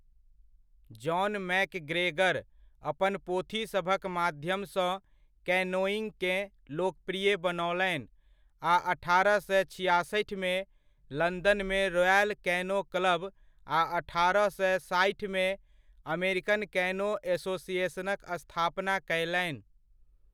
John MacGregor अपन पोथीसभक माध्यमसँ कैनोइङ्गकेँ लोकप्रिय बनओलनि आ अठारह सए छिआसठिमे लंदनमे रॉयल कैनो क्लब आ अठारह सए साठिमे अमेरिकन कैनो एसोसिएशनक स्थापना कयलनि।